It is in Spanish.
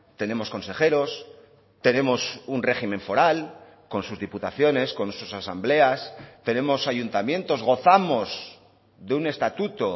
tenemos consejeros tenemos un régimen foral con sus diputaciones con sus asambleas tenemos ayuntamientos gozamos de un estatuto